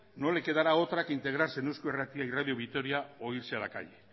no lo quedará otra que integrarse en eusko irratia y radio vitoria o irse a la calle